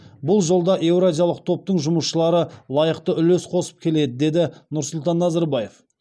бұл жолда еуразиялық топтың жұмысшылары лайықты үлес қосып келеді деді нұрсұлтан назарбаев